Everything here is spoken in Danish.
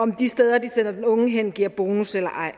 om de steder hvor de sender den unge hen giver bonus eller ej